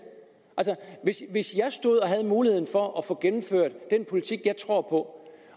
hvis jeg stod og havde muligheden for at få gennemført den politik jeg tror på